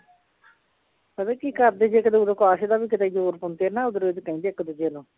ਪਤਾ ਕੀ ਕਰਦੇ ਜੇ ਕਿਤੇ ਓਦੋਂ ਕਾਸੇ ਦਾ ਵੀ ਕਿਤੇ ਜ਼ੋਰ ਪਾਉਂਦੇ ਨਾ ਉਧਰੋਂ ਉੱਧਰ ਕਹਿੰਦੇ ਇੱਕ ਦੂਜੇ ਨੂੰ